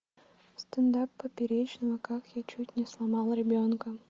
стендап поперечного как я чуть не сломал ребенка